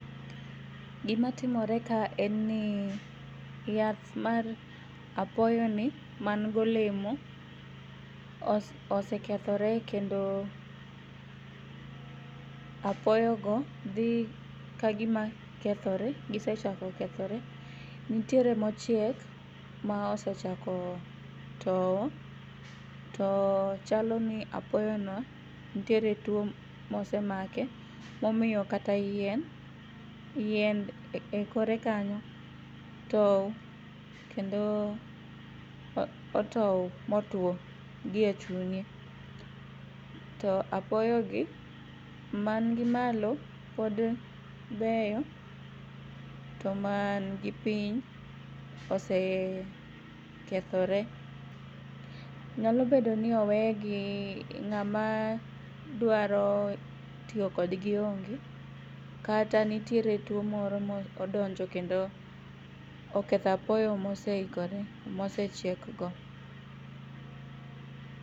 Gimatimore ka en ni yath mar apoyoni mangolemo osekethore kendo apoyogo dhi kagima kethore. Gisechako kethore. Nitiere mochiek maosechako towo to chaloni apoyono ntiere tuo mosemake momiyo kata yien ekorekanyo towo kendo otou motuo gi echunye. To apoyogi mangi malo pod beyo to mangi piny osekethore. Nyalobedoni owegi, ng'ama dwaro tiyo kodgi onge kata nitiere tuo moro modonjo kendo oketho apoyo moseikore mosechiekgo.